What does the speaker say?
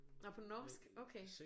Nå på norsk okay